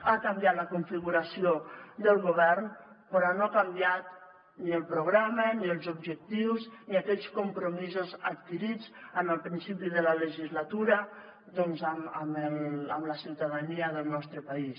ha canviat la configuració del govern però no ha canviat ni el programa ni els objectius ni aquells compromisos adquirits en el principi de la legislatura doncs amb la ciutadania del nostre país